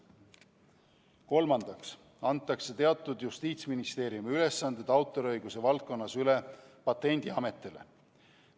Kolmandaks antakse Justiitsministeeriumi teatud ülesanded autoriõiguse valdkonnas üle Patendiametile.